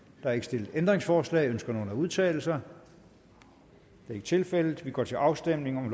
der er ikke stillet ændringsforslag ønsker nogen at udtale sig det er ikke tilfældet og vi går til afstemning